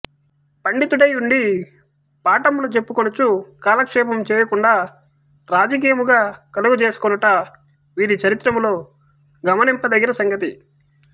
పండితుడై యుండి పాఠములు చెప్పుకొనుచు గాలక్షేపము చేయకుండ రాజకీయముగా గలుగజేసికొనుట వీరి చరిత్రములో గమనింప దగిన సంగతి